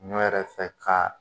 Ɲɔ yɛrɛ fɛ ka